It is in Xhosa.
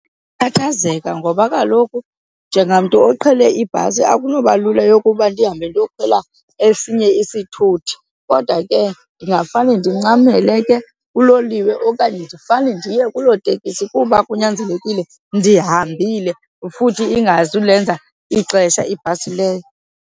Ndingakhathazeka ngoba kaloku njengamntu oqhele ibhasi akunoba lula yokuba ndihambe ndiyokhwela esinye isithuthi. Kodwa ke ndingafane ndincamele ke kuloliwe okanye ndifane ndiye kuloo tekisi kuba kunyanzelekile ndihambile futhi ingazulenza ixesha ibhasi leyo.